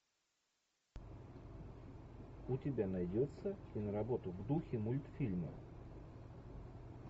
у тебя найдется киноработа в духе мультфильма